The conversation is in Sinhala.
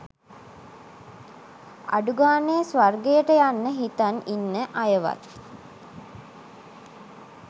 අඩුගානෙ ස්වර්ගයට යන්න හිතන් ඉන්න අයවත්